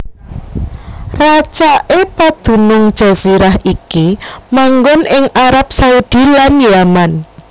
Racaké padunung jazirah iki manggon ing Arab Saudi lan Yaman